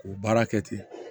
K'o baara kɛ ten